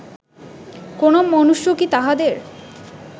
কোন মনুষ্য কি তাঁহাদের